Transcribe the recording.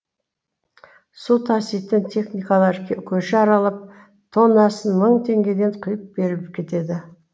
су таситын техникалар көше аралап тоннасын мың теңгеден құйып беріп кетеді